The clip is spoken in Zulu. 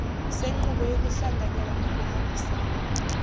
senqubo yokuhlanganyela nokuhambisana